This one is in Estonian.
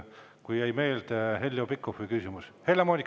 Helle-Moonika Helme, palun!